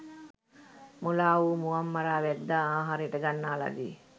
මුලා වූ මුවන් මරා වැද්දා ආහාරයට ගන්නා ලදී.